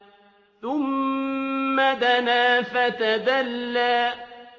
ثُمَّ دَنَا فَتَدَلَّىٰ